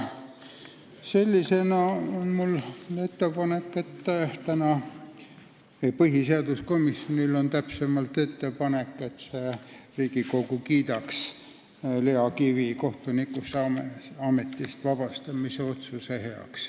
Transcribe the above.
Seetõttu on mul ettepanek, täpsemalt, põhiseaduskomisjonil on ettepanek, et täna kiidaks Riigikogu Lea Kivi kohtunikuametist vabastamise otsuse heaks.